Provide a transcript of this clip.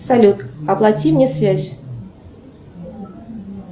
салют оплати мне связь